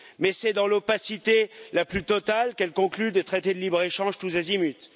Mais c'est dans l'opacité la plus totale qu'elle conclut des traités de libre échange tous azimut.